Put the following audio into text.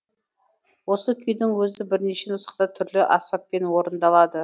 осы күйдің өзі бірнеше нұсқада түрлі аспаппен орындалады